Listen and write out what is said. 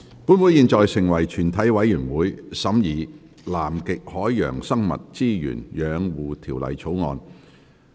本會現在成為全體委員會，審議《南極海洋生物資源養護條例草案》。